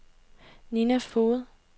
Nina Foged